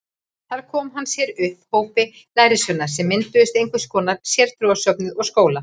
Þar kom hann sér upp hópi lærisveina sem mynduðu einhvers konar sértrúarsöfnuð og skóla.